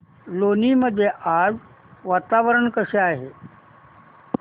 लोणी मध्ये आज वातावरण कसे आहे